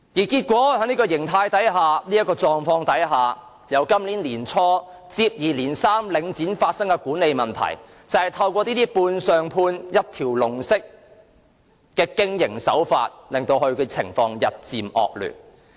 結果，在這個狀態下，由今年年初起，領展便發生接二連三的管理問題，這些都是由判上判、一條龍式的經營手法引發，情況日漸惡劣。